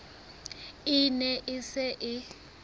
e ne e se e